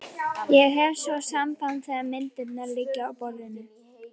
Ég hef svo samband þegar myndirnar liggja á borðinu.